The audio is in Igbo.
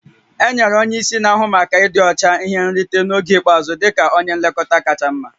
Enyere onye isi na-ahụ maka ịdị ọcha ihe nrite oge ikpeazụ dị ka onye nlekọta kacha mma